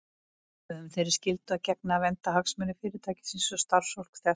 Við höfum þeirri skyldu að gegna að vernda hagsmuni Fyrirtækisins og starfsfólks þess.